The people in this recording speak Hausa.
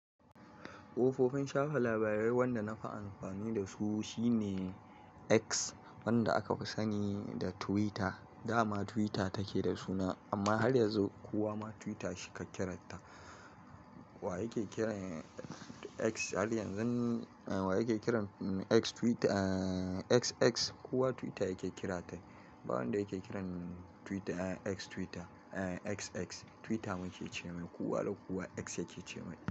Kofofin shafa labarai wanda nafi amfani da su shine X wanda aka fi sani da Twitter. Dama Twitter take da suna amma har yanzu kuwa ma Twitter shika kiranta. Wa yake kiran X har yanzu? Wa yake kiran X Twitter? X, X kowa Twitter yake kira ta. Ba wanda yake kiran Twitter X Twitter. X, X Twitter muke ce ma ko kowa da kowa X yake ce mai.